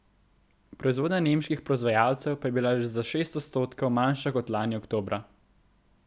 Proizvodnja nemških proizvajalcev pa je bila za šest odstotkov manjša kot lani oktobra.